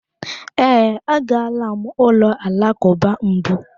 Ee, agala m ụlọ alakụba mbụ.